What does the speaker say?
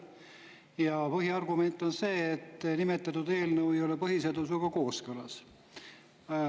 Ja põhiargument on see, et nimetatud eelnõu ei ole põhiseadusega kooskõlas.